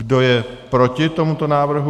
Kdo je proti tomuto návrhu?